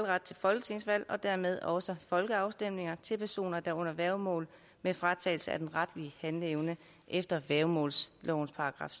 ret til folketingsvalg og dermed også folkeafstemninger til personer der er under værgemål med fratagelse af den retlige handleevne efter værgemålslovens §